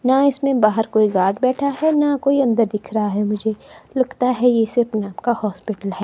ना इसमें बाहर कोई गार्ड बैठा है ना कोई अंदर दिख रहा है मुझे लगता है यह सिर्फ नाम का हॉस्पिटल है।